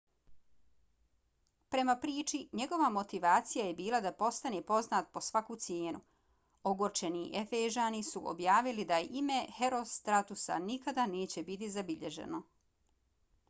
prema priči njegova motivacija je bila da postane poznat po svaku cijenu. ogorčeni efežani su objavili da ime herostratusa nikada neće biti zabilježeno